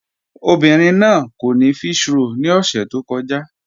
Obìnrin náà kò ní físhròl ni ọ̀ṣẹ̀ tó kọ̀ja